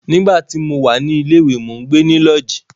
Nígbà tí mo wà ní ilé ìwé, mó gbe ní lọ́ọ̀jí.